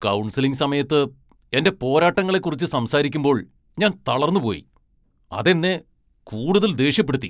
Counselling സമയത്ത് എന്റെ പോരാട്ടങ്ങളെക്കുറിച്ച് സംസാരിക്കുമ്പോൾ ഞാൻ തളർന്നുപോയി. അതെന്നെ കൂടുതൽ ദേഷ്യപ്പെടുത്തി.